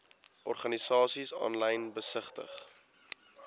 organisasies aanlyn besigtig